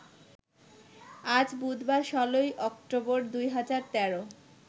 আজ বুধবার ১৬ই অক্টোবর ২০১৩